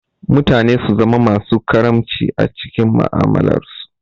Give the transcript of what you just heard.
Mutane su zama masu karamci a mu'amalarsu.